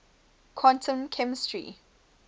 quantum chemistry